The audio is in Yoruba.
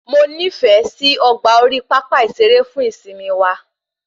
Mo nifẹ sí ọgbà orí pápá ìsere fún ìsimi wa